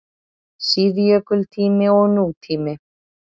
SÍÐJÖKULTÍMI OG NÚTÍMI